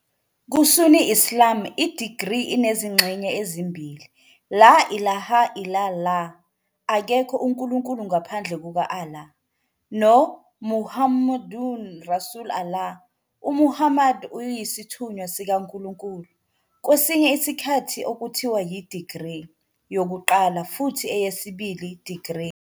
Ku- Sunni Islam, i-degree inezingxenye ezimbili. "la ilaha illa'llah", akekho unkulunkulu ngaphandle kuka- Allah, "noMuhammadun rasul Allah", uMuhammad uyisithunywa sikaNkulunkulu, kwesinye isikhathi okuthiwa yi- "degree" yokuqala futhi eyesibili "degree".